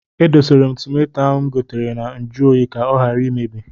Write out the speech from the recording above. E dosara m tomato ahụ m gotere na nju oyi ka ọ ghara imebi.